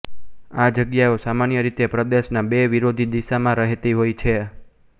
આ જગ્યાઓ સામાન્યરીતે પ્રદેશના બે વિરોધી દિશામાં રહેતી હોય છે